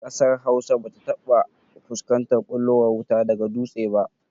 Ƙasar Hausa ba ta taɓa fuskantar ɓullowar wuta daga dutse ba